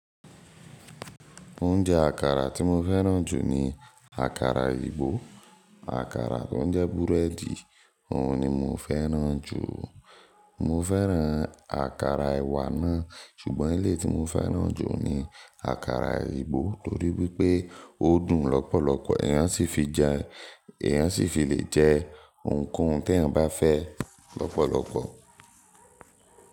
Oúnjẹ àkàrà tí mo fẹ́ràn jù ni àkàrà ìgbó. Àkàrà tó ń jẹ búrẹ́dì òun ni mo fẹ́ràn jù. Mo fẹ́ràn àkàrà ẹ̀wà náà ṣùgbọ́n elé tí mo fẹ́ràn jù ni àkàrà ìgbó torí wípé ó dùn lọ́pọ̀lọpọ̀. Ẹ̀yàn sì fi le jẹ òun kó ohun tí ẹ bá fẹ́ lọ́pọ̀lọpọ̀.